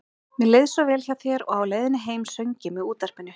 Mér leið svo vel hjá þér og á leiðinni heim söng ég með útvarpinu.